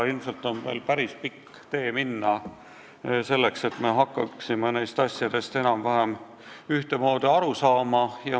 Ilmselt on veel päris pikk tee minna, enne kui me hakkame nendest asjadest enam-vähem ühtemoodi aru saama.